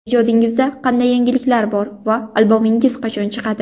Ijodingizda qanday yangiliklar bor va albomingiz qachon chiqadi?